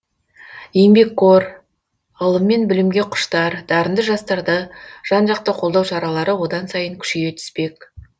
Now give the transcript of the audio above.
еңбекқор ғылым мен білімге құштар дарынды жастарды жан жақты қолдау шаралары одан сайын күшейе түспек